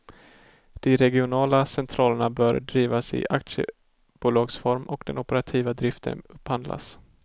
De regionala centralerna bör drivas i aktiebolagsform och den operativa driften upphandlas.